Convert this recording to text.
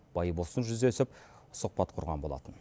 байбосын жүздесіп сұхбат құрған болатын